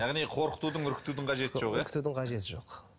яғни қорқытудың үркітудің қажеті жоқ иә үркітудің қажеті жоқ